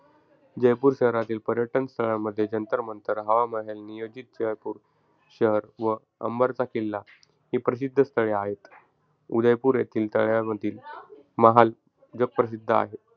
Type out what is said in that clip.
जयपूर शहरातील पर्यटन स्थळांमध्ये जंतर-मंतर, हवा महल, नियोजित जयपूर शहर व अंबरचा किल्ला, ही प्रसिद्ध स्थळे आहेत. उदयपूर येथील तळ्यातील महाल जगप्रसिद्ध आहे.